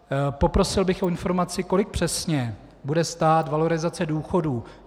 Poprosil bych o informaci, kolik přesně bude stát valorizace důchodů.